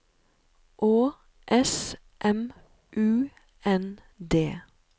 Å S M U N D